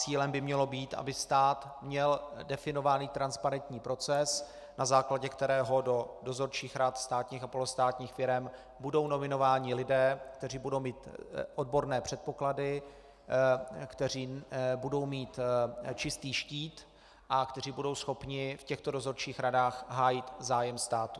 Cílem by mělo být, aby stát měl definován transparentní proces, na základě kterého do dozorčích rad státních a polostátních firem budou nominováni lidé, kteří budou mít odborné předpoklady, kteří budou mít čistý štít a kteří budou schopni v těchto dozorčích radách hájit zájem státu.